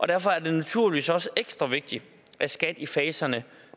derfor er det naturligvis også ekstra vigtigt at skat i faserne